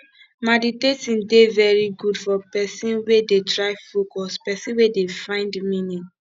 maditating de very good for person wey dey try focus person wey dey find meaning